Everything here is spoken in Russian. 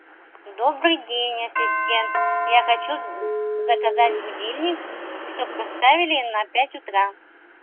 добрый день ассистент я хочу заказать будильник чтобы поставили на пять утра